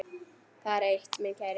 Það er eitt, minn kæri.